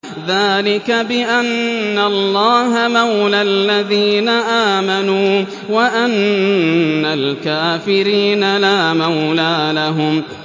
ذَٰلِكَ بِأَنَّ اللَّهَ مَوْلَى الَّذِينَ آمَنُوا وَأَنَّ الْكَافِرِينَ لَا مَوْلَىٰ لَهُمْ